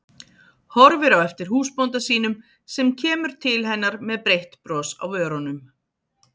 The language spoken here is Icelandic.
Horfir á eftir húsbónda sínum sem kemur til hennar með breitt bros á vörunum.